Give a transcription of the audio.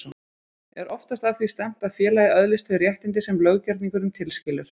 Er oftast að því stefnt að félagið öðlist þau réttindi sem löggerningurinn tilskilur.